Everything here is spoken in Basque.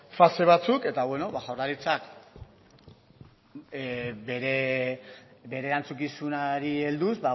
fase batzuk eta beno ba jaurlaritzak bere erantzukizunari helduz